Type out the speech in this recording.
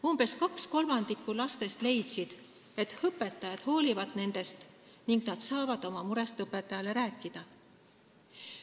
Umbes kaks kolmandikku lastest leidsid, et õpetajad hoolivad nendest ning nad saavad oma murest õpetajale rääkida.